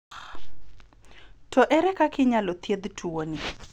To ere kaka inyalo thiedhi tuo ni.